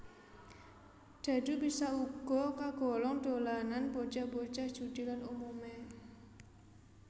Dhadhu bisa uga kagolong dolanan bocah bocah judi lan umumé